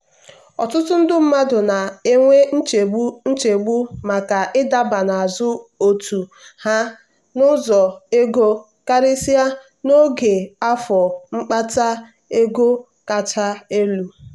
ọtụtụ ndị mmadụ na-enwe nchegbu nchegbu maka ịdaba n'azụ otu ha n'ụzọ ego karịsịa n'oge afọ mkpata ego kacha elu.